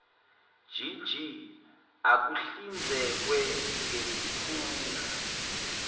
gg akuhlinzekwe ngesikhungo